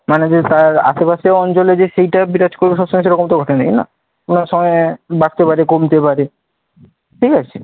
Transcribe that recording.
মানে তার আশেপাশের অঞ্চলে যে সেটাই বিরাজ করবে সব সময়, সেরকম তো কথা নেই, না? কোনও সময় বাড়তে পারে কমতে পারে। ঠিক আছে?